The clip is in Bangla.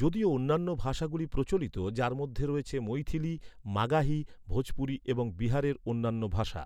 যদিও অন্যান্য ভাষাগুলি প্রচলিত, যার মধ্যে রয়েছে মৈথিলি, মাগাহি, ভোজপুরি এবং বিহারের অন্যান্য ভাষা।